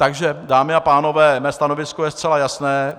Takže dámy a pánové, mé stanovisko je zcela jasné.